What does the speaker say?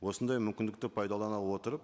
осындай мүмкіндікті пайдалана отырып